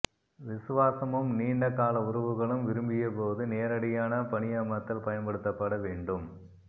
விசுவாசமும் நீண்ட கால உறவுகளும் விரும்பியபோது நேரடியான பணியமர்த்தல் பயன்படுத்தப்பட வேண்டும்